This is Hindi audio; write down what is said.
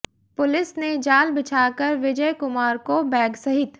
पुलिस ने जाल बिछाकर विजय कुमार को बैग सहित